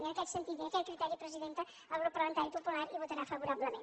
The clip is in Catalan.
i en aquest sentit i amb aquest criteri presidenta el grup parlamentari popular hi votarà favorablement